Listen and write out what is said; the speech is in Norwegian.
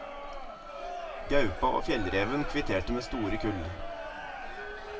Gaupa og fjellreven kvitterte med store kull.